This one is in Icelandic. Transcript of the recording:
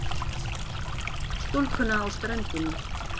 Stúlkuna á ströndinni.